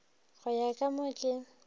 go ya ka mo ke